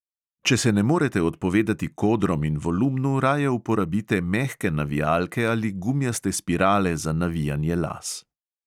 Če se ne morete odpovedati kodrom in volumnu, raje uporabite mehke navijalke ali gumijaste spirale za navijanje las.